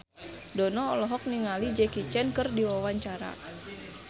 Dono olohok ningali Jackie Chan keur diwawancara